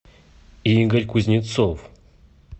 игорь кузнецов